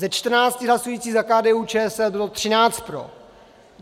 Ze 14 hlasujících za KDU-ČSL bylo 13 pro.